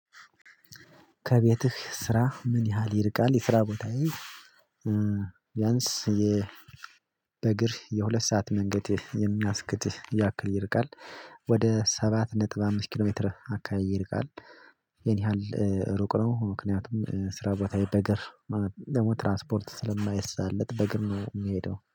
ከቤትህ ስራህ ምን ያህል ይርቃል የስራ ቦታ ቢያንስ የ በእግር የሁለት ሰዓት መንገድ የሚያስኬድ ያክል ይርቃል? ወደ ሰባት ነጥብ አምስት ኪሎ ሜትር አካባቢ ይርቃል። ይህን ያህል ሩቅ ነው ምክንያቱም ስራ ቦታየ በግር ደሞ ትራስፖርት ስለማይሳለጥ በግር ነው የምሄደው